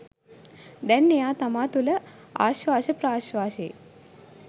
දැන් එයා තමා තුළ ආශ්වාස ප්‍රශ්වාසයේ